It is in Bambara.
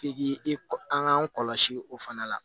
F'i k'an k'an kɔlɔsi o fana la